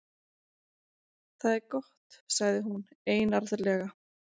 Það er gott- sagði hún einarðlega.